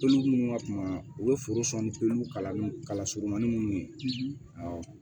Pelu minnu ka kuma u bɛ foro san ni pelulu kalanni kala surunmanin minnu ye awɔ